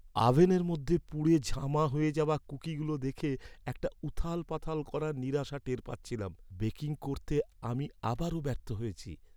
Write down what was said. আভেনের মধ্যে পুড়ে ঝামা হয়ে যাওয়া কুকিগুলো দেখে একটা উথালপাথাল করা নিরাশা টের পাচ্ছিলাম। বেকিং করতে আমি আবারও ব্যর্থ হয়েছি।